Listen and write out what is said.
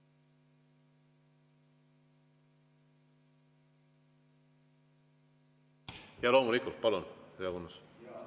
Jaa, loomulikult, palun, Leo Kunnas!